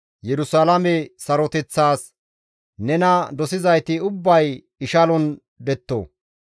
Yerusalaame saroteththas, «Nena dosizayti ubbay ishalon detto;